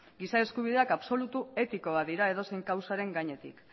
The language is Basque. giza eskubideak absolutu etiko bat dira edozein kausaren gainetik